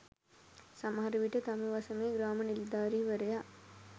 සමහර විට තම වසමේ ග්‍රාම නිලධාරීවරයා